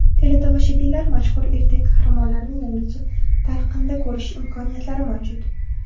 Teletomoshabinlar mashhur ertak qahramonlarini yangicha talqinda ko‘rish imkoniyatlari mavjud.